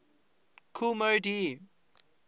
kool moe dee